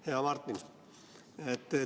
Hea Martin!